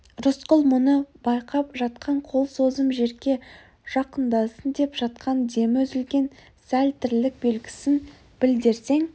рысқұл мұны байқап жатқан қол созым жерге жақындасын деп жатқан демі үзілген сәл тірлік белгісін білдірсең